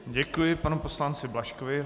Děkuji panu poslanci Blažkovi.